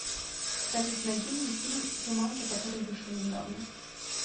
салют найди мне фильм джуманджи который вышел недавно